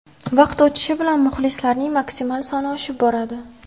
Vaqt o‘tishi bilan muxlislarning maksimal soni oshib boradi.